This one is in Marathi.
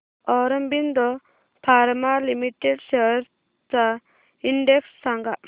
ऑरबिंदो फार्मा लिमिटेड शेअर्स चा इंडेक्स सांगा